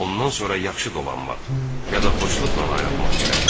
Ondan sonra yaxşı dolanmaq, ya da xoşluqla ayrılmaq gərəkdir.